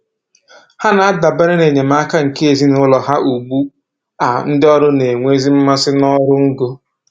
Ha na-adabere n'enyemaka nke ezinụlọ ha ugbu a ndị ọrụ na-enwezi mmasị n'ọrụ ngo